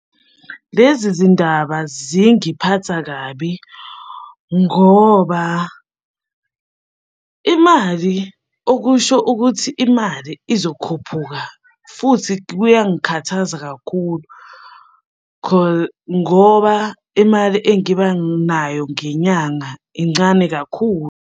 Lezi zindaba zingiphatha kabi ngoba imali okusho ukuthi imali izokhuphuka, futhi kuyangikhathaza kakhulu ngoba imali engibanayo ngenyanga incane kakhulu.